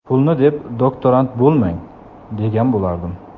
Pulni deb doktorant bo‘lmang, degan bo‘lardim.